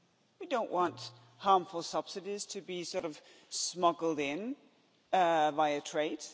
We don't want harmful subsidies to be sort of smuggled in via trade.